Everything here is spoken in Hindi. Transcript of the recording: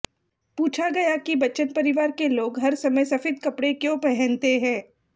पूछा गया कि बच्चन परिवार के लोग हर समय सफेद कपड़े क्यों पहनते हैं